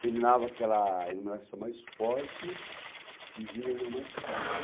Terminava aquela iluminação mais forte e vinha uma mais fraca.